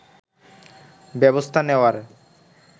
ব্যবস্থা নেয়ার